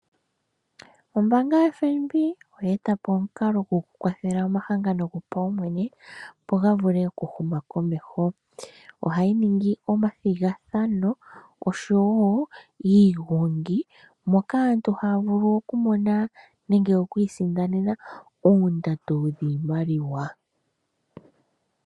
Ombaanga yoFNB oya eta po omulalo goku kwathele omahanga gopaumwene opo ga vule oku huma komeho. Ohayi ningi omathigathano nosho woo iigongi moka aantu haa vulu okwiisindanena oshimaliwa shomwaalu gontumba.